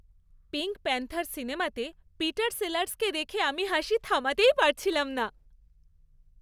Pink Panther' সিনেমাতে Peter সেলার্সকে দেখে আমি হাসি থামাতেই পারছিলাম না।